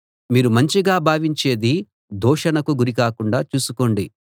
మీరు మంచిగా భావించేది దూషణకు గురి కాకుండా చూసుకోండి